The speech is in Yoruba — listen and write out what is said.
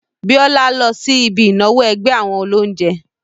Bíọ́lá lọ sí ibi ìnáwó ẹgbẹ́ àwọn olóunjẹ́